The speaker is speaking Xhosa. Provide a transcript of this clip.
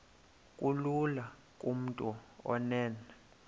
kulula kumntu onen